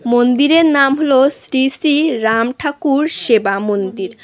মন্দিরের নাম হলো শ্রী শ্রী রাম ঠাকুর সেবা মন্দির।